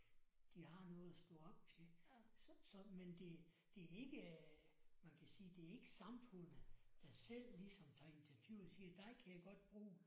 De har noget at stå op til så men det det er ikke man kan sige det er ikke samfundet der selv ligesom tager initiativ og siger dig kan jeg godt bruge